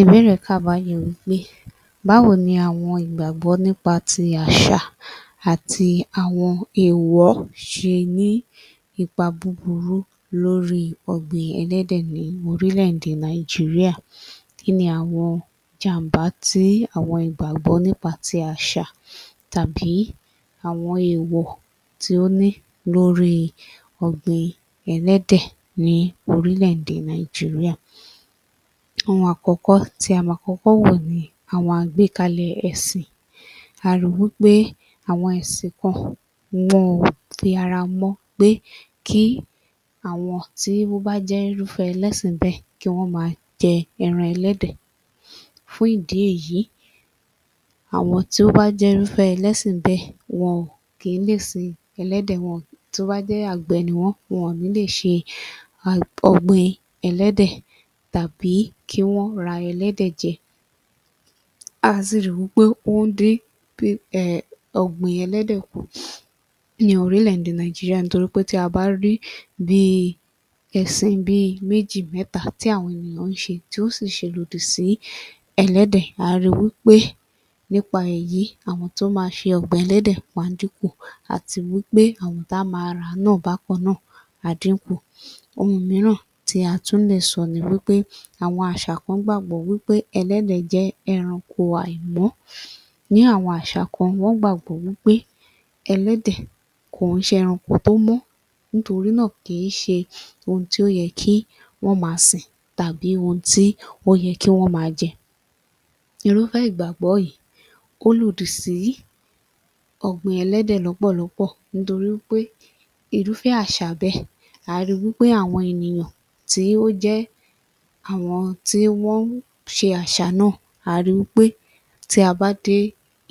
Ìbéèrè kà báyìí wí pé báwo ni àwọn ìgbàgbọ́ nípa ti àṣà àti àwọn èèwọ̀ ṣe ní ipa búburú lórí ọ̀gbìn ẹlẹ́dẹ̀ ní orílẹ̀-èdè Nàìjíríà? Kí ni àwọn jàm̀bá tí àwọn ìgbàgbọ́ nípa ti àṣà tàbí àwọn èèwọ̀ tí ó ní lórí ọ̀gbìn ẹlẹ́dẹ̀ ní orílẹ̀-èdè Nàìjíríà? Ohun àkọ́kọ́ tí a máa kọ́kọ́ wò ni àwọn àgbékalẹ̀ ẹ̀sìn. A ri wí pé àwọn ẹ̀sìn kan wọn ò fi ará mọ pé kí àwọn tí ó bá jẹ́ irúfẹ́ ẹlẹ́sìn bẹ́ẹ̀ kí wọ́n máa jẹ ẹran ẹlẹ́dẹ̀. Fún ìdí èyí, àwọn tí ó bá jẹ́ irúfẹ́ ẹlẹ́sìn bẹ́ẹ̀ wọn kì í lè sin ẹlẹ́dẹ̀. [wọn…] Tó bá jẹ́ àgbẹ̀ ni wọ́n, wọ̀n ní lè ṣe [a…] ọ̀gbìn ẹlẹ́dẹ̀ tàbí kí wọ́n ra ẹlẹ́dẹ̀ jẹ. À á sì ri wí pé ó ń dín um ọ̀gbìn ẹlẹ́dẹ̀ kù ní orílẹ̀-èdè Nàìjíríà nítorí pé tí a bá rí bí ẹ̀sìn bi méjì mẹ́ta tí àwọn ènìyàn ń ṣe tí ó sì ṣe lòdì sí ẹlẹ́dẹ̀ à á ri wí pé nípa èyí àwọn tó máa ṣe ọ̀gbìn ẹlẹ́dẹ̀ wọn á dínkù àti wí pé àwọn tá á máa rà á náà bákan náà á dínkù. Ohun mìíràn tí a tún lè sọ ni wí pé àwọn àṣà kan gbàgbọ́ wí pe ẹlẹ́dẹ̀ jẹ́ ẹranko àìmọ́. Ní àwọn àṣà kan, wọ́n gbàgbọ́ wí pé ẹlẹ́dẹ̀ kò ń ṣe ẹranko tó mọ́ nítorí náà kì í ṣe ohun tí ó yẹ kí wọ́n máa sìn tàbí ohun tí ó yẹ kí wọ́n máa jẹ. Irúfẹ́ ìgbàgbọ́ yìí, ó lòdì sí ọ̀gbìn ẹlẹ́dẹ̀ lọ́pọ̀lọ́pọ̀ nítorí wí pé irúfẹ́ àṣà bẹ́ẹ̀ à á ri wí pé àwọn ènìyàn tí ó jẹ́ àwọn tí wọ́n ń ṣe àṣà náà à á ri wí pé tí a bá dé